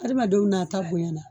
Adamadenw nata bonɲa na.